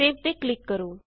save ਤੇ click ਕਰੋ